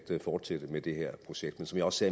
fortsætte med det her projekt men som jeg også